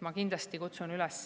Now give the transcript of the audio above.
Ma kindlasti kutsun üles